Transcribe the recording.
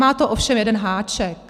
Má to ovšem jeden háček.